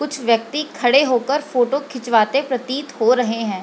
कुछ व्यक्ति खड़े होकर फोटो खींचवाते प्रतीत हो रहे हैं।